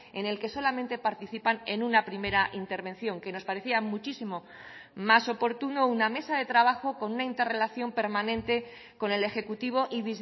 en el que solamente participan en una primera intervención que nos parecía muchísimo más oportuno una mesa de trabajo con una interrelación permanente con el ejecutivo y